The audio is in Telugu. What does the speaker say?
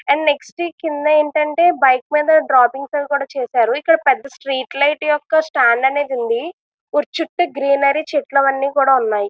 అండ్ నెక్స్ట్ ఏంటంటే కింద ఒక బైక్ మీద డ్రాపింగ్ సెండ్ చేశారు. ఇక్కడ పెద్ద స్ట్రీట్ లైట్ యొక్క స్టాండ్ అనేది ఉంది. గుడి చుట్టూ గ్రీనరీ అవి చెట్లు కూడా ఉన్నాయి.